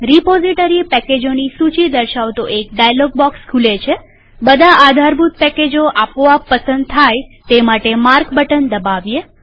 repository પેકેજોની સૂચી દર્શાવતો એક ડાયલોગ બોક્સ ખુલે છેબધા આધારભૂત પેકેજો આપોઆપ પસંદ થાય તે માટે માર્ક બટન દબાવીએ